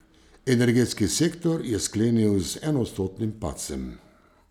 Energetski sektor je sklenil z enoodstotnim padcem.